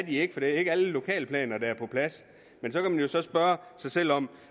ikke for det er ikke alle lokalplaner der er på plads men så kan man så spørge sig selv om